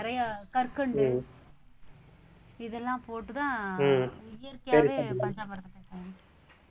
நிறைய கற்கண்டு இதெல்லாம் போட்டுதான் இயற்கையாவே பஞ்சாமிர்தம்